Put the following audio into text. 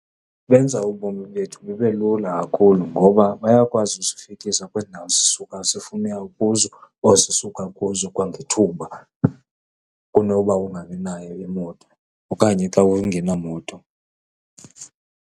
Benza ubomi bethu bube lula kakhulu ngoba bayakwazi usifikisa kwezi ndawo sisuka sifuna uya kuzo or sisuka kuzo kwangethuba kunoba ungabinayo imoto okanye xa ungenamoto.